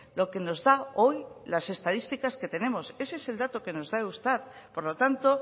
lo que nos da hoy las estadísticas que tenemos ese es el dato que nos da eustat por lo tanto